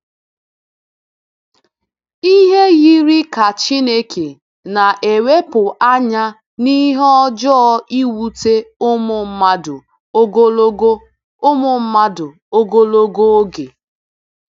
Ihe yiri ka Chineke na-ewepụ anya n’ihe ọjọọ ewute ụmụ mmadụ ogologo ụmụ mmadụ ogologo oge.